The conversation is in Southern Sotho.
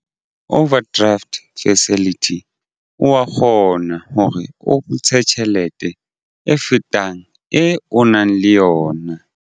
Overdraft facility o wa kgona hore o ntshe tjhelete e fetang e o nang le yona.